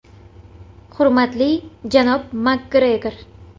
“Hurmatli, janob Makgregor.